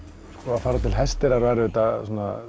að fara til Hesteyrar var auðvitað